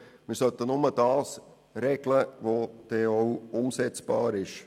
Wir sollten nur das regeln, was auch umsetzbar ist.